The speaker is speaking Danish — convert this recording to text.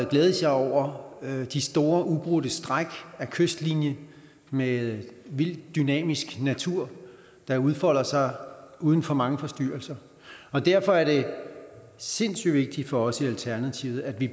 glædes jeg over de store ubrudte stræk af kystlinje med vild dynamisk natur der udfolder sig uden for mange forstyrrelser derfor er det sindssyg vigtigt for os i alternativet at vi